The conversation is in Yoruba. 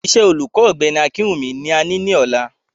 Iṣẹ́ olùkọ́ Ọ̀gbẹ́ni Akinwunmi ni a ní lọ́la